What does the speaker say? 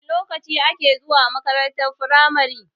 Wana lokaci ake zuwa makarantar firamare?